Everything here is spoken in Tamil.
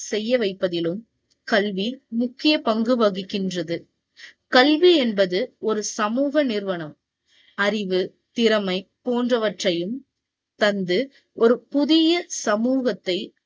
செய்ய வைப்பதிலும், கல்வி முக்கிய பங்கு வகிக்கின்றது. கல்வி என்பது ஒரு சமூக நிறுவனம். அறிவு, திறமை போன்றவற்றையும் தந்து, ஒரு புதிய சமூகத்தை